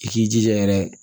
I k'i jija yɛrɛ